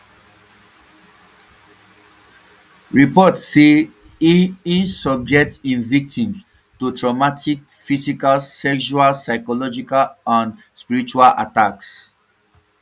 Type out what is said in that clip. reports say um e um e subject im victims to traumatic physical sexual psychological and um spiritual attacks